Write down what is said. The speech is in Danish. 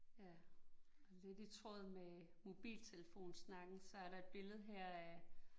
Ja, lidt i tråd med mobiltelefonsnakken, så er der et billede her af